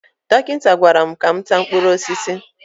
Dọkịta gwara m ka m taa mkpụrụ osisi